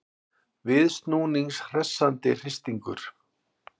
Viðsnúnings hressandi hristingur